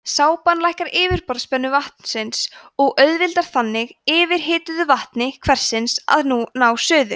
sápan lækkar yfirborðsspennu vatnsins og auðveldar þannig yfirhituðu vatni hversins að ná suðu